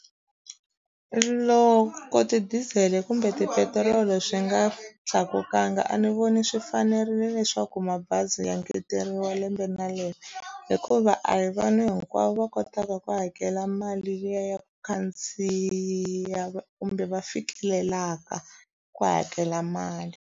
Loko ti-diesel kumbe tipetiroli swi nga tlakulanga a ni voni swi fanerile leswaku mabazi ya ngeteriwa lembe na lembe hikuva a hi vanhu hinkwavo va kotaka ku hakela mali liya ya ku khandziya kumbe va fikelelaka ku hakela mali.